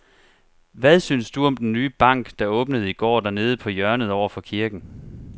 Hvad synes du om den nye bank, der åbnede i går dernede på hjørnet over for kirken?